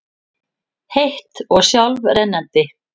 heitt og sjálfrennandi.